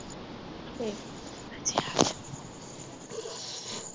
ਠੀਕ